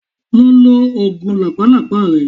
Lọ lo oògùn làpálàpá rẹ.